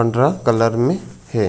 पंद्रह कलर में हे।